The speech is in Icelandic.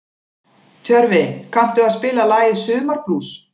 Tjörfi, kanntu að spila lagið „Sumarblús“?